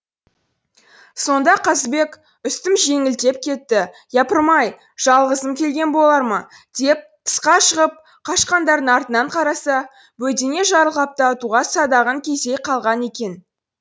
сонда қазыбек үстім жеңілдеп кетті япырмай жалғызым келген болар ма деп тысқа шығып қашқандардың артынан қараса бөдене жарылғапты атуға садағын кезей қалған екен